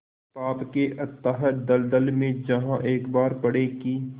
पाप के अथाह दलदल में जहाँ एक बार पड़े कि